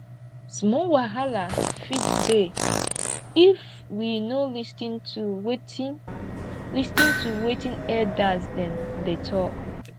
small wahala fit dey if we no lis ten to wetin lis ten to wetin elders dem dey talk